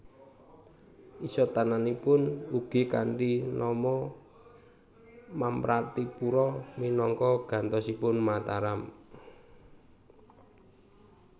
Isatananipun ugi kanthi nama Mamratipura minangka gantosipun Mataram